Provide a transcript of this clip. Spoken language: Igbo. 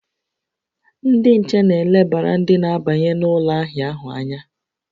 Ndị nche na-elebara ndị na-abanye n'ụlọ ahịa ahụ anya